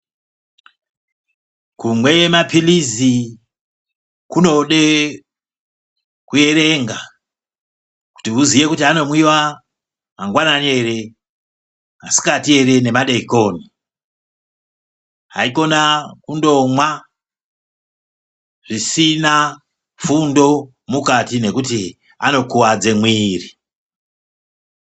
Kumwe maphirizi kunode kuerenga. Kuti uziye kuti anomwiva mangwanani ere masikati ere nemadekoni. Haikona kundomwa zvisina fundo mukati nekuti anokuvadze mwiri.